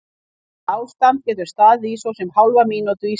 Þetta ástand getur staðið í svo sem hálfa mínútu í senn.